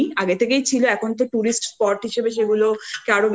থেকেই ছিলএখন তো tourist spot হিসেবে সেগুলো আরও